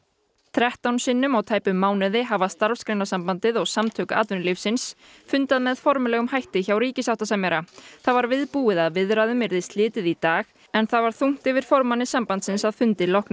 þrettán sinnum á tæpum mánuði hafa Starfsgreinasambandið og Samtök atvinnulífsins fundað með formlegum hætti hjá ríkissáttasemjara það var viðbúið að viðræðum yrði slitið í dag en það var þungt yfir formanni sambandsins að fundi loknum